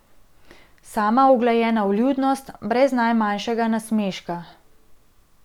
Sama uglajena vljudnost, brez najmanjšega nasmeška.